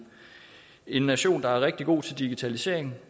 en nation der er rigtig god til digitalisering